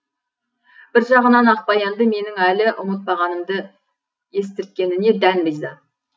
бір жағынан ақбаянды менің әлі ұмытпағанымды естірткеніне дән риза